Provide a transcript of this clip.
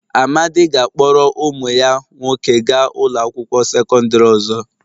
Amadi ga-akpọrọ ụmụ ya nwoke gaa ụlọ akwụkwọ sekọndrị ọzọ.